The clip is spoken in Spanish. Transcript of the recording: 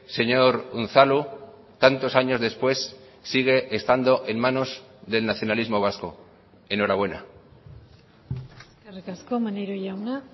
señor unzalu tantos años después sigue estando en manos del nacionalismo vasco enhorabuena eskerrik asko maneiro jauna